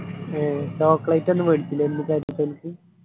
ഏ chocolate ഒന്നു വേണിച്ചില്ലേ .